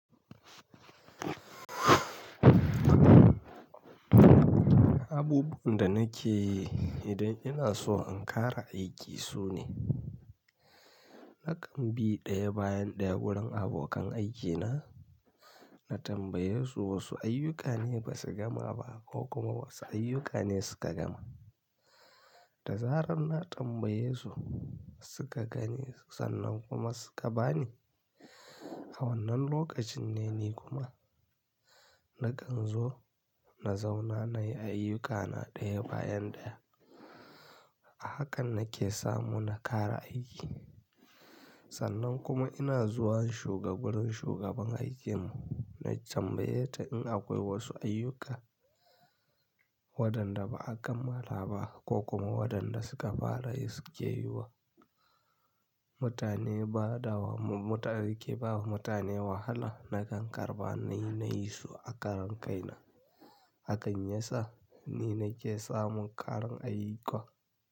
Abubuwan da nake idan ina so in kara aiki sune, nakan bi ɗaya bayan ɗaya wurin abokan aikina, na tambaye su wosu ayyuka ne ba su gama ba ko kuma wasu ayyuka ne suka gama. Da zarar na tambaye su suka gani sannan kuma suka bani. A wannan lokacin ne ni kuma nakan zo na zauna nayi ayyukana ɗaya bayan ɗaya. Hakan nake samu na kara aiki. Sannan kuma ina zuwa shugabar shugaban aikin mu na tambaye ta in akoi wosu ayyuka waɗanda ba a kammala ba ko kuma waɗanda suka fara yi suke yi wa mutane bada wa mutum aiki bamu mutane wahala nakan karɓa nayi na yi su a karan kaina. Hakan ya sa ni nake samun karin ayyuka.